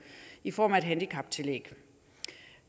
i form af et handicaptillæg